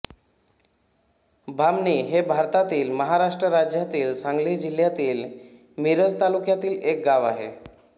बामणी हे भारतातील महाराष्ट्र राज्यातील सांगली जिल्ह्यातील मिरज तालुक्यातील एक गाव आहे